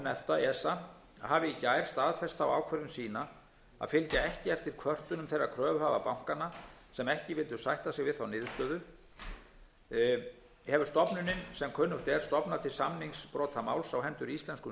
efta hafi í gær staðfest þá ákvörðun sína að fylgja ekki eftir kvörtunum þeirra kröfuhafa bankanna sem ekki vildu sætta sig við þá niðurstöðu hefur stofnunin sem kunnugt er stofnað til samningsbrotamáls á hendur íslenskum